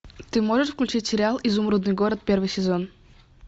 ты можешь включить сериал изумрудный город первый сезон